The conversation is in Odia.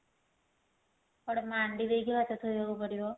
ଗୋଟେ ମାଣ୍ଡୀ ଦେଇକି ବା କେତେ କରିବ